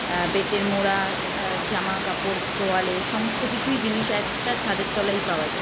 অ্যা বেতের মোড়া অ্যা জামা কাপড় তোয়ালে সমস্ত কিছুই জিনিস এক টা ছাদের তলায় পাওয়া যায়।